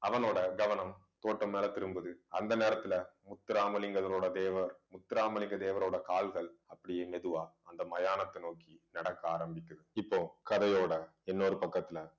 அவனோட கவனம் தோட்டம் மேல திரும்புது அந்த நேரத்துல முத்துராமலிங்கத்தரோட தேவர் முத்துராமலிங்க தேவரோட கால்கள் அப்படியே மெதுவா அந்த மயானத்தை நோக்கி நடக்க ஆரம்பிக்குது இப்போ கதையோட இன்னொரு பக்கத்துல